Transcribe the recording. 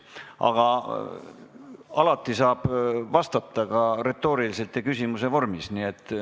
Aga alati saab vastata ka retooriliselt ja küsimuse vormis.